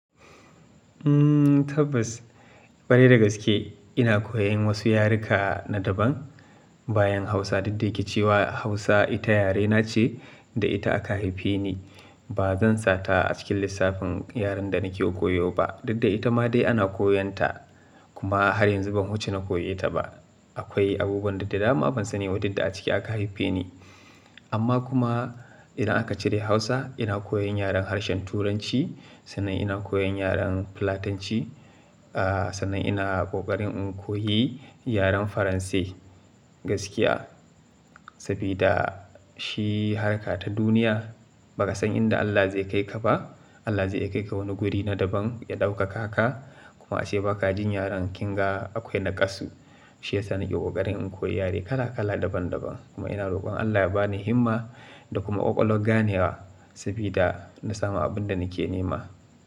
Tabbas, kwarai da gaske ina koyan wasu yaruka na daban bayan Hausa. Didde yake cewa Hausa ita yarena ce da ita aka haife ni. Ba zan sata a cikin lissafin yaren da nake koyo ba. Didda ita ma dai ana koyonta kuma har yanzu ban wuce na koyeta ba. Akwai abubuwan duk da dama ban sani duk da aciki aka haife ni. Amma kuma idan aka cire Hausa, ina koyan yaren harshen Turanci, sannan ina koyan yaren Fulatanci, aah sannan ina kokarin in koyi yaren Faranse gaskiya. Sabida shi harka ta duniya. Baka san inda Allah zai kai ka ba. Allah zai iya kai ka wani guri na daban, ya ɗaukaka ka kuma ace baka jin yaren kinga akwai naƙasu. Shi yasa nake kokarin in koyi yare kala kala daban daban. Kuma ina roƙon Allah ya ba ni himma da kuma ƙwaƙwalwar ganewa sabida na samu abin da nake nema.